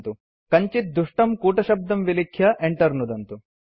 47 000554 000457 कञ्चित् दुष्टं कूटशब्दं विलिख्य enter नुदन्तु